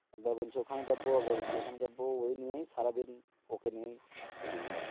একবার বলছে ওখানে চাপবো একবার বলছে এখানে চাপবো, ওই নিয়ে সারাদিন ওকে নিয়ে,